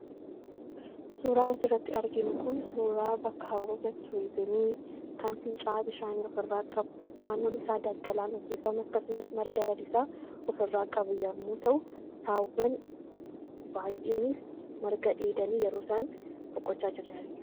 Suuraan asirratti arginu kun suuraa bakka hawwata turizimii kan fincaa'aa bishaanii ofirraa qabu naannoon isaa daggalaan uffifame akkasumas marga lalisaa ofirraa qabu yommuu ta'u, saawwan baay'eenis marga dheedanii yeroo isaan boqochaa jiran argina.